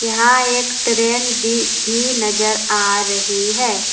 यहां एक ट्रेन दी भी नजर आ रही है।